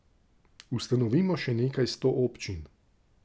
Ustanovimo še nekaj sto občin.